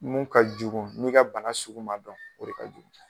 Mun ka jugu n'i ka bana sugu man dɔn o de ka jugu.